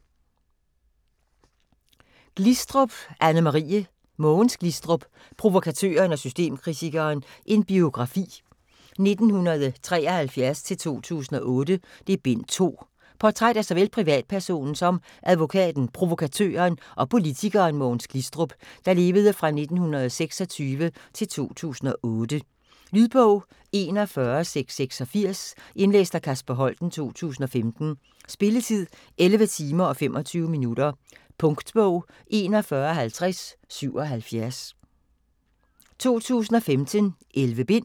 Glistrup, Anne-Marie: Mogens Glistrup: Provokatøren og systemkritikeren: en biografi - 1973-2008: Bind 2 Portræt af såvel privatpersonen som advokaten, provokatøren og politikeren Mogens Glistrup (1926-2008). Lydbog 41686 Indlæst af Kasper Holten, 2015. Spilletid: 11 timer, 25 minutter. Punktbog 415077 2015. 11 bind.